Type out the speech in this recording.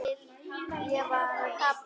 Ég var að kafna.